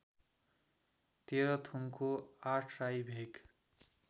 तेह्रथुमको Athrai भेग